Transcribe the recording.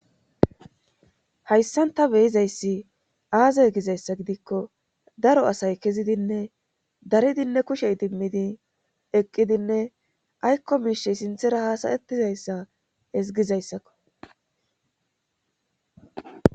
hayssanta beyizayssi aaze gizayssa gidikko daro asay kezidinne daridinne kushe idimmidi eqqidinne aykko miishe sinthera haasayettizayssa ezgizayssakko